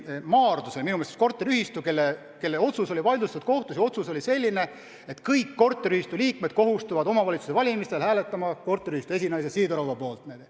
Maardus oli korteriühistu, kelle üks otsus oli kohtus vaidlustatud, ja see otsus oli selline, et kõik korteriühistu liikmed kohustuvad omavalitsuste valimisel hääletama korteriühistu esinaise Sidorova poolt.